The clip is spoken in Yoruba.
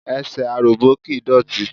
Ẹsẹ̀ aròbó kìí dọ̀tí.